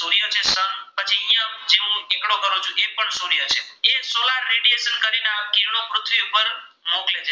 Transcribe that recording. મોકલે છે.